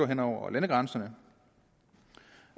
hen over landegrænserne